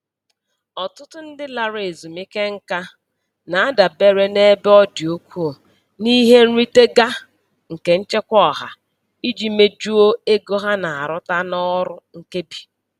Ọtụtụ ndị larala ezumike nka na-adabere nebe ọdị ukwuu n'ihe nrite ga nke Nchekwa Ọha iji mejuo ego ha na-arụta n'ọrụ nkebi.